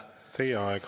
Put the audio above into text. Teie aeg!